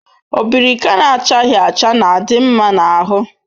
Obirika na-achaghi acha na-adi nma na ahu